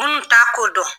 Minnu t'a ko dɔn